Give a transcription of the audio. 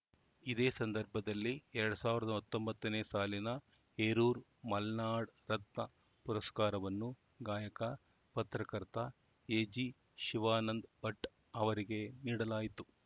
ಇದೇ ಸಂದರ್ಭದಲ್ಲಿ ಎರಡ್ ಸಾವಿರದ ಹತ್ತೊಂಬತ್ತನೇ ಸಾಲಿನ ಹೇರೂರು ಮಲ್ನಾಡ್‌ ರತ್ನ ಪುರಸ್ಕಾರವನ್ನು ಗಾಯಕ ಪತ್ರಕರ್ತ ಎಜಿ ಶಿವಾನಂದ ಭಟ್‌ ಅವರಿಗೆ ನೀಡಲಾಯಿತು